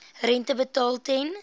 rente betaal ten